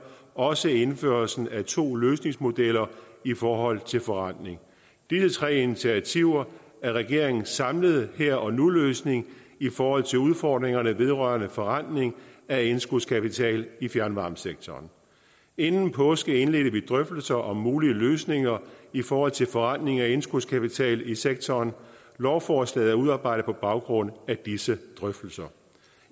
også indførelsen af to løsningsmodeller i forhold til forrentning disse tre initiativer er regeringens samlede her og nu løsning i forhold til udfordringerne vedrørende forrentning af indskudskapital i fjernvarmesektoren inden påske indledte vi drøftelserne om mulige løsninger i forhold til forrentning af indskudskapital i sektoren lovforslaget er udarbejdet på baggrund af disse drøftelser